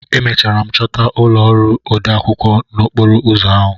Emechara m chọta ụlọ ọrụ odeakwụkwọ n'okporo ụzọ ahụ.